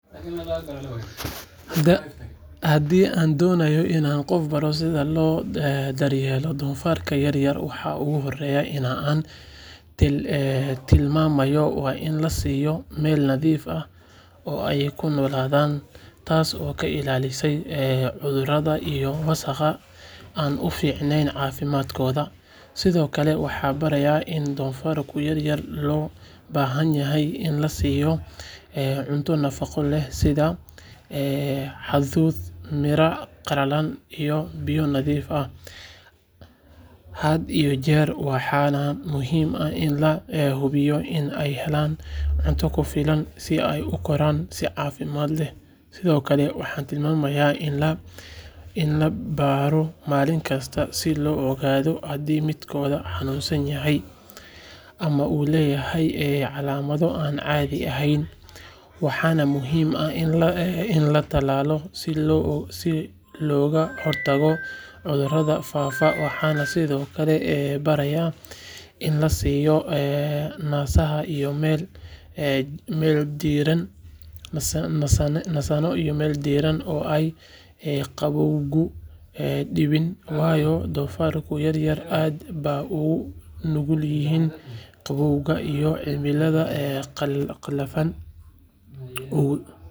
Haddii aan doonayo in aan qof baro sida loo daryeelo doofaarka yar yar waxa ugu horreeya ee aan tilmaamayo waa in la siiyo meel nadiif ah oo ay ku noolaadaan taasoo ka ilaalinaysa cudurro iyo wasakh aan u fiicnayn caafimaadkooda sidoo kale waxaan barayaa in doofaarka yar yar loo baahan yahay in la siiyo cunto nafaqo leh sida hadhuudh, miraha qalalan iyo biyo nadiif ah had iyo jeer waxaana muhiim ah in la hubiyo in ay helaan cunto ku filan si ay u koraan si caafimaad leh sidoo kale waxaan tilmaamayaa in la baadho maalin kasta si loo ogaado haddii midkood xanuunsan yahay ama uu leeyahay calaamado aan caadi ahayn waxaana muhiim ah in la talaalo si looga hortago cudurrada faafa waxaan sidoo kale barayaa in la siiyo nasasho iyo meel diirran oo aysan qabowgu dhibin waayo doofaarka yar yar aad bay ugu nugul yihiin qabowga iyo cimilada qallafsan.